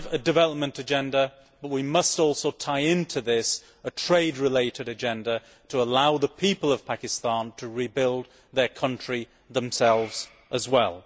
We have a development agenda, but we must also tie into this a trade related agenda to allow the people of Pakistan to rebuild their country themselves as well.